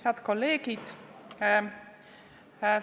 Head kolleegid!